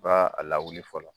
I b'a a lawuli fɔlɔ.